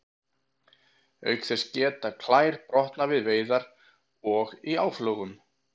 Auk þess geta klær brotnað við veiðar og í áflogum.